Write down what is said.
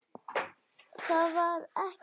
Það var ekki hægt.